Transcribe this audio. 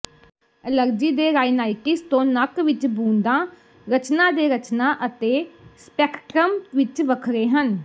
allergy ਦੇ rhinitis ਤੋਂ ਨੱਕ ਵਿਚ ਬੂੰਦਾਂ ਰਚਨਾ ਦੇ ਰਚਨਾ ਅਤੇ ਸਪੈਕਟ੍ਰਮ ਵਿਚ ਵੱਖਰੇ ਹਨ